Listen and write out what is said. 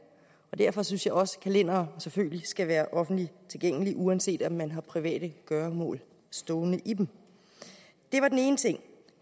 og derfor synes jeg også at kalendere selvfølgelig skal være offentligt tilgængelige uanset om man har private gøremål stående i dem det var den ene ting